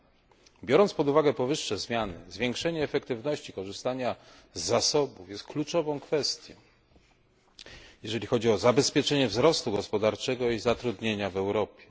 Ze względu na powyższe zmiany zwiększenie efektywności korzystania z zasobów jest kluczową kwestią, jeżeli chodzi o zapewnienie wzrostu gospodarczego i zatrudnienia w Europie.